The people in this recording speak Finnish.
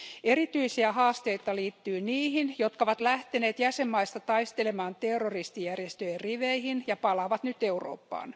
Erityisiä haasteita liittyy niihin, jotka ovat lähteneet jäsenvaltioista taistelemaan terroristijärjestöjen riveihin ja palaavat nyt Eurooppaan.